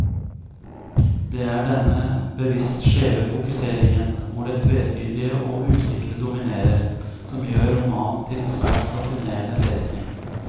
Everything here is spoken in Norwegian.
Det er denne bevisst skjeve fokuseringen, hvor det tvetydige og usikre dominerer, som gjør romanen til svært fascinerende lesning.